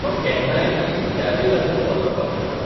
तो केन्नाय आनी कित्याकय लागून कोसळपाक शकता.